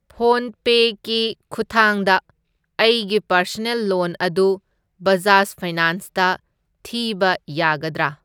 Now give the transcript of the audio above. ꯐꯣꯟꯄꯦ ꯀꯤ ꯈꯨꯠꯊꯥꯡꯗ ꯑꯩꯒꯤ ꯄꯔꯁꯅꯦꯜ ꯂꯣꯟ ꯑꯗꯨ ꯕꯖꯥꯖ ꯐꯥꯏꯅꯥꯟꯁꯇ ꯊꯤꯕ ꯌꯥꯒꯗ꯭ꯔꯥ?